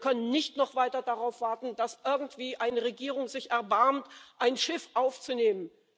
Wir können nicht noch weiter darauf warten, dass irgendwie eine Regierung sich erbarmt, ein Schiff aufzunehmen.